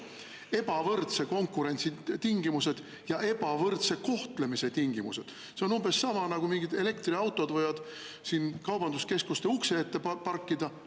Ebavõrdse konkurentsi tingimused ja ebavõrdse kohtlemise tingimused – see on umbes sama nagu see, et elektriautod võivad kaubanduskeskuste ukse ette parkida.